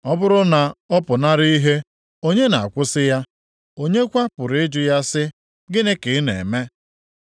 Ọ bụrụ na ọ pụnara ihe, onye na-akwụsị ya? Onye kwa pụrụ ịjụ ya si, ‘Gịnị ka ị na-eme?’